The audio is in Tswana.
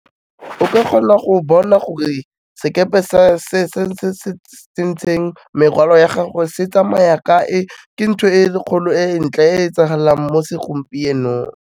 O ka kgona go bona gore sekepe se se tsentseng merwalo ya gago se tsamaya kae, ke ntho e kgolo e ntle, e etsagalang mo segompienong.